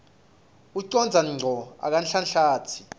ucondza ngco akanhlanhlatsi